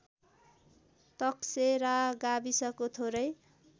तकसेरा गाविसको थोरै